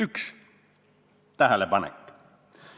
Üks tähelepanek.